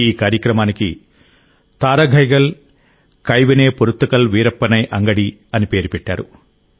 ఈ కార్యక్రమానికి థారగైగల్ కైవినై పోరుత్తకల్ వీరప్పనై అంగడి అని పేరు పెట్టారు